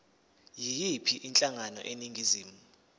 yiyiphi inhlangano eningizimu